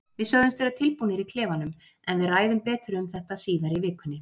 Við sögðumst vera tilbúnir í klefanum, en við ræðum betur um þetta síðar í vikunni.